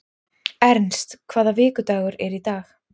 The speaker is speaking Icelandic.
Ernst, hvaða vikudagur er í dag?